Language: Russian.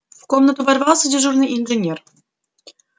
в комнату ворвался дежурный инженер